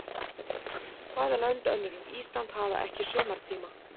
Hvaða lönd önnur er Ísland hafa ekki sumartíma?